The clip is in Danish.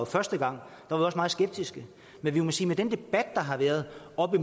første gang var vi også meget skeptiske men vi må sige med den debat der har været op